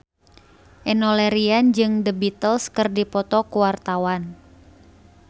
Enno Lerian jeung The Beatles keur dipoto ku wartawan